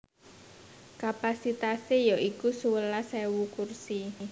Kapasitasé ya iku sewelas ewu kursi